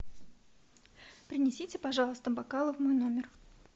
принесите пожалуйста бокалы в мой номер